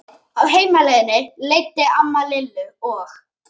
Á heimleiðinni leiddi amma Lillu og